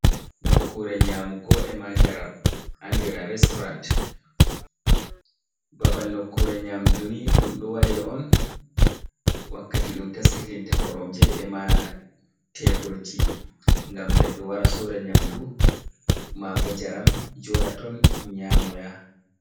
"Nokkure nyamugo" e'ma njaram andira restoran babal nokkure nyamduni ɗum ɗo wada on wakkati ɗum taskitinta koromje e'ma teburji ngam nedɗo wara soda nyamdu mabo njaram joda ton nyamo ya.